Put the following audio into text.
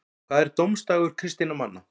hvað er dómsdagur kristinna manna